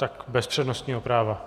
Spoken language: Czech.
Tak bez přednostního práva.